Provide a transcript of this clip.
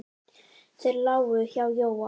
Þeir lágu hjá Jóa.